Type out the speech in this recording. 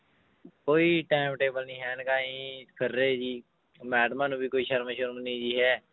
ਕੋਈ time table ਨੀ ਹੈ ਇਨਕਾ ਜੀ ਫਿਰ ਰਹੇ ਜੀ ਮੈਡਮਾਂ ਨੂੰ ਵੀ ਕੋਈ ਸ਼ਰਮ ਸ਼ੁਰਮ ਨੀ ਜੀ ਹੈ